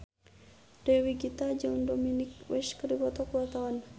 Dewi Gita jeung Dominic West keur dipoto ku wartawan